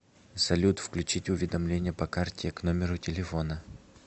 салют включить уведомления по карте к номеру телефона